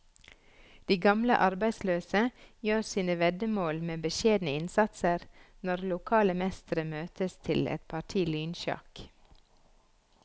De gamle arbeidsløse gjør sine veddemål med beskjedne innsatser når lokale mestere møtes til et parti lynsjakk.